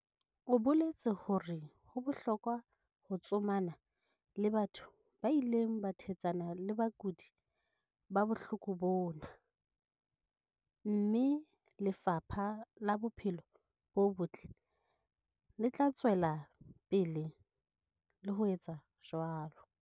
O boletse hore ho bohlokwa ho tsomana le batho ba ileng ba thetsana le bakudi ba bohloko bona, mme Lefapha la Bophelo bo Botle le tla tswela pele le ho etsa jwalo.